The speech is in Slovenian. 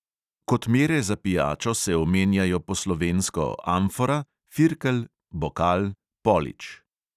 Kot mere za pijačo se omenjajo po slovensko: amfora, firkel, bokal, polič.